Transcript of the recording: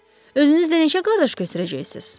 Özünüzlə necə qardaş götürəcəksiniz?